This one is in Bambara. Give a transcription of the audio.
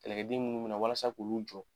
Kɛlɛkɛden munnu bɛ na walasa k'olu jɔ.